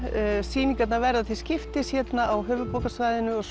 sýningarnar verða til skiptis á höfuðborgarsvæðinu og